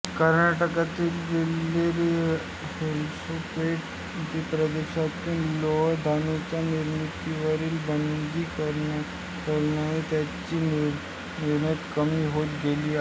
कर्नाटकातील बेल्लारी होसपेट प्रदेशातून लोह धातूच्या निर्यातीवरील बंदी असल्याने त्याची निर्यात कमी होत गेली आहे